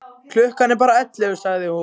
Klukkan er bara ellefu, sagði hún.